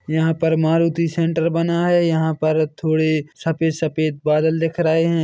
यहाँ पर मारुती सेण्टर बना है यहाँ पर थोड़े सफ़ेद सफ़ेद बादल दिख रहे--